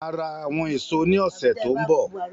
Bẹ́ẹ̀ni, máa ra àwọn èso ní ọsẹ tó n bọ